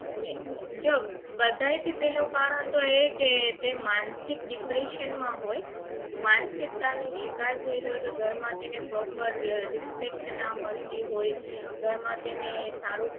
એ જો બધાય થી પહેલો કારણ તો એ કે તે માનસિક depression માં હોય માનસિકતા નો શિકાર થયેલો કે ઘર માં તેને proper respect ના પડતી હોય ઘર માં તેને સારું